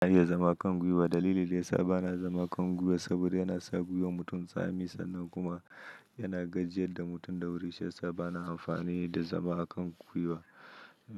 Ba na iya zama a kan gwiwa, dalili da yasa ba na zama a kan gwiwa saboda yana sa gwiwar mutum tsami sannan kuma yana gajiyar da mutum da wuri. Shiyasa bana amfani da zama a kan gwiwa.